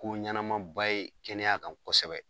Ko ɲanamanba ye kɛnɛya kan kɔsɛbɛ.